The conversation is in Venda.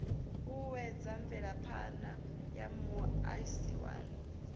uuwedza mvelaphana ya muaisano wa